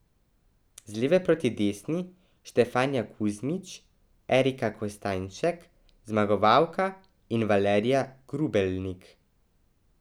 Z leve proti desni Štefanija Kuzmič, Erika Kostanjšek, zmagovalka, in Valerija Grubelnik.